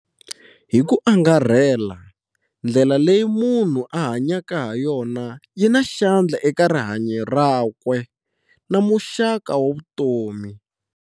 Hi ku angarhela, ndlela leyi munhu a hanyaka hayona yi na xandla eka rihanyo rakwe na muxaka wa vutomi.